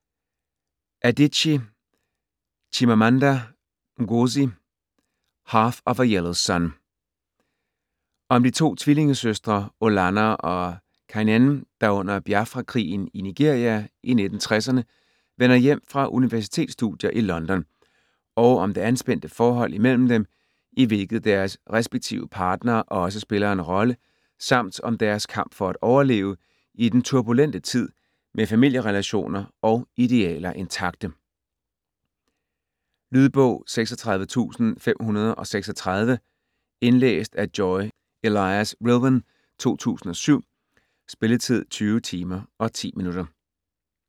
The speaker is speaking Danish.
Adichie, Chimamanda Ngozi: Half of a yellow sun Om de to tvillingesøstre Olanna og Kainene, der under Biafra-krigen i Nigeria i 1960'erne vender hjem fra universitetsstudier i London og om det anspændte forhold imellem dem, i hvilket deres respektive partnere også spiller en rolle, samt om deres kamp for at overleve i den turbulente tid med familierelationer og idealer intakte. Lydbog 36536 Indlæst af Joy Elias-Rilwan, 2007. Spilletid: 20 timer, 10 minutter.